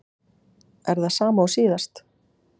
Er það sama og síðast?